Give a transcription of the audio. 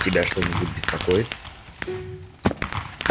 тебя что-нибудь беспокоит